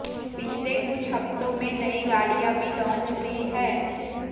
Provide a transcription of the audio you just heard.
पिछले कुछ हफ्तों में नई गाड़ियां भी लॉन्च हुई हैं